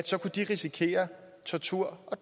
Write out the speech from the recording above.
så kunne de risikere tortur og